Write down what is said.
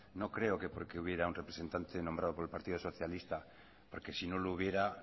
no creo que porque hubiera un representante nombrado por el partido socialista porque si no lo hubiera